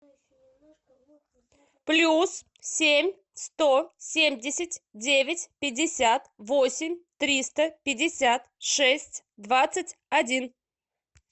плюс семь сто семьдесят девять пятьдесят восемь триста пятьдесят шесть двадцать один